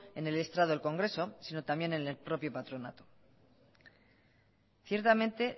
en el estrado del congreso sino también en el propio patronato ciertamente